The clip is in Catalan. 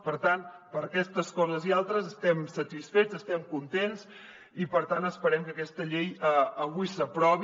per tant per aquestes coses i altres estem satisfets estem contents i per tant esperem que aquesta llei avui s’aprovi